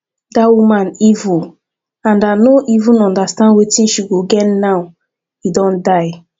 dat woman evil and i no even understand wetin she go gain now he don die